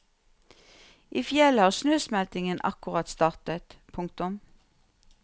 I fjellet har snøsmeltingen akkurat startet. punktum